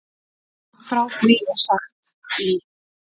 Frá því er sagt í